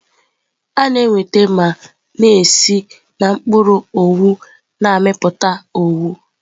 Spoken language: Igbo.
A na-enweta ma na-esi na mkpụrụ owu na-amịpụta owu.